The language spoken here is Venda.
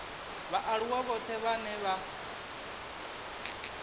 vhaaluwa vhoṱhe vhane vha vha